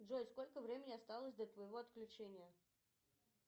джой сколько времени осталось до твоего отключения